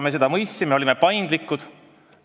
Me seda mõistsime ja oleme paindlikud.